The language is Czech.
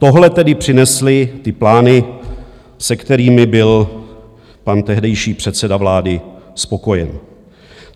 Tohle tedy přinesly ty plány, se kterými byl pan tehdejší předseda vlády spokojen.